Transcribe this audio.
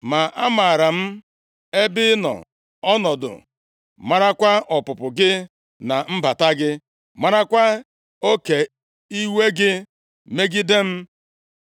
“ ‘Ma amaara m ebe ị nọ ọnọdụ marakwa ọpụpụ gị na mbata gị marakwa oke iwe gị megide m.